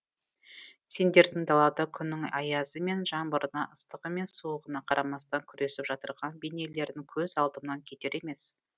сендердің далада күннің аязы мен жаңбырына ыстығы мен суығына қарамастан күресіп жатырған бейнелерін көз алдымнан кетер емес